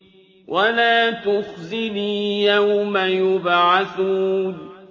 وَلَا تُخْزِنِي يَوْمَ يُبْعَثُونَ